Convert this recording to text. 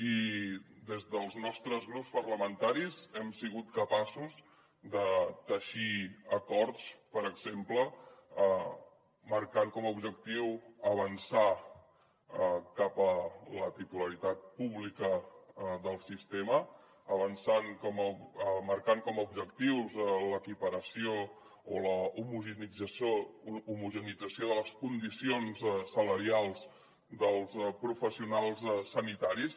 i des dels nostres grups parlamentaris hem sigut capaços de teixir acords per exemple marcant com a objectiu avançar cap a la titularitat pública del sistema marcant com a objectius l’equiparació o l’homogeneïtzació de les condicions salarials dels professionals sanitaris